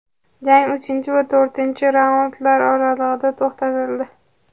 Jang uchinchi va to‘rtinchi raundlar oralig‘ida to‘xtatildi.